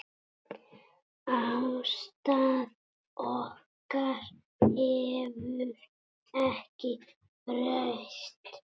Afstaða okkar hefur ekki breyst.